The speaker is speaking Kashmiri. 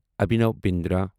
ابھینو بِندرا